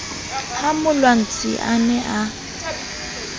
ha molwantsi a ne a